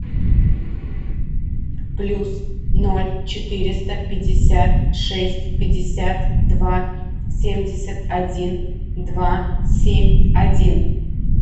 плюс ноль четыреста пятьдесят шесть пятьдесят два семьдесят один два семь один